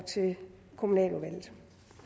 til kommunaludvalget